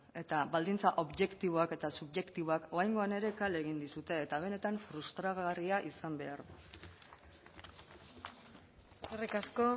eta baldintza objektiboak eta subjektiboak oraingoan ere kale egin dizute eta benetan frustragarria izan behar du eskerrik asko